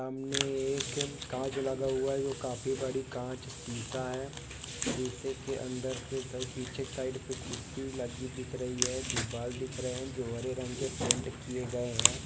हमने एकम कांच लगा हुआ है जो काफी बड़ी कांच सीसा हैं शीशे के अंदर के सर पीछे साइड पर खूरसि लगी दिख रही है दीवाल दिख रहे हैं जो हरे रंग के पेंट किए गए हैं।